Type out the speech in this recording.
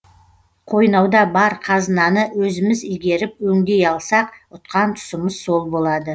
қойнауда бар қазынаны өзіміз игеріп өңдей алсақ ұтқан тұсымыз сол болады